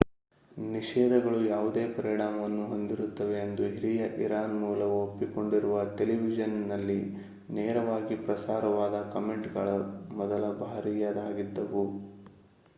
ನಿಷೇಧಗಳು ಯಾವುದೇ ಪರಿಣಾಮವನ್ನು ಹೊಂದಿರುತ್ತವೆ ಎಂದು ಹಿರಿಯ ಇರಾನ್‌ ಮೂಲವು ಒಪ್ಪಿಕೊಂಡಿರುವ ಟೆಲಿವಿಷನ್‌ನಲ್ಲಿ ನೇರವಾಗಿ ಪ್ರಸಾರವಾದ ಕಾಮೆಂಟ್‌ಗಳು ಮೊದಲ ಬಾರಿಯದಾಗಿದ್ದವು